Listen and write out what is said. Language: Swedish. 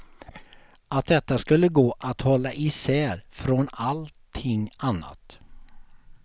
Att detta skulle gå att hålla isär från allting annat.